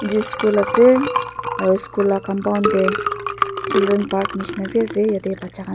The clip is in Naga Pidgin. gis school ase aro school la compound de children park nishina b ase yete bacha kan.